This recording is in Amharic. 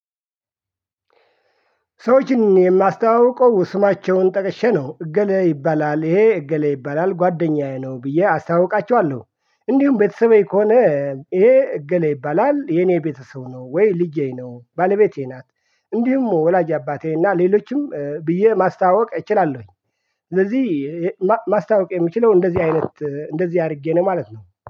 ሰዎችን የማስተዋውቀው ስማቸውን ጠቀሼ ነው እገሌ ይባላል ይሄ እገሌ ይባላል ጓደኛዬ ነው ብዬ አስተዋውቃቸዋለሁ። እንዲሁም ቤተሰቤ ከሆነ ይሄ እገሌ ይባላል የኔ ቤተሰብ ነው። ወይ ልጄ ነው ባለቤቴ ናት። እንዲሁም ወላጅ አባቴ እና ሌሎችም ብዬ ማስተዋወቅ እችላለሁኝ። ስለዚህ ማስተዋወቅ የምችለው እንደዚህ አይነት እንደዚህ አድርጌ ነው ማለት ነው